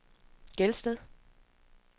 Gelsted